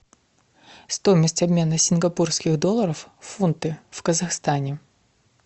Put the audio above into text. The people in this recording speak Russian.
стоимость обмена сингапурских долларов в фунты в казахстане